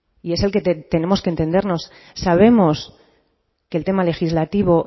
y es el que tenemos que entendernos sabemos que el tema legislativo